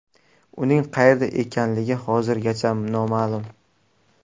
Uning qayerda ekanligi hozirgacha noma’lum.